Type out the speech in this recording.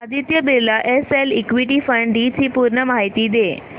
Aditya Birla SL equity fund D ची पूर्ण माहिती दे